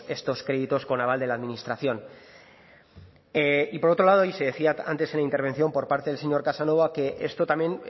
estos créditos con aval de la administración y por otro lado y se decía antes en la intervención por parte del señor casanova que esto también